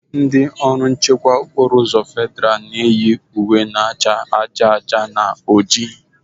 Ndị ọrụ nchekwa okporo uzọ federa na-eyi uwe na cha aja aja na ojii.